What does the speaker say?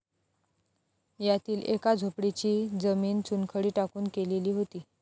यातील एका झोपडीची जमीन चुनखडी टाकून केलेली होती.